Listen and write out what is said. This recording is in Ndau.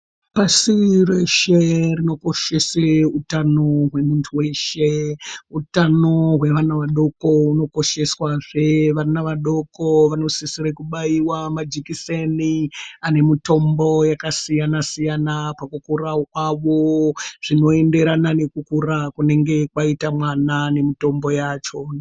Pasi reshe rinokoshese utano hwemuntu weshe utano hwevana vadoko hunokosheswazve vana vadoko vanosisire kubaiwa majikiseni anemutombo yakasiyana siyana pakukura kwavo zvinoenderana nekukura kunenge kwaita mwana nemitombo yacho.